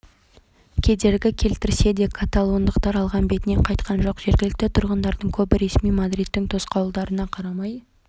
бұл шиеленіскен түрлі мәселенің түйінін тарқататын барлық ұлтқа ортақ ұйым олар аштық адам құқығы бейбітшілік және індеттердің таралуына қарсы да әрекет